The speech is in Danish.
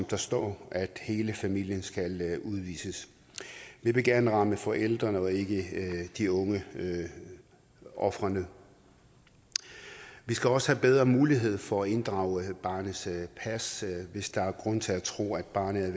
der står om at hele familien skal udvises vi vil gerne ramme forældrene og ikke de unge ofrene vi skal også have bedre mulighed for at inddrage barnets pas hvis der er grund til at tro at barnet er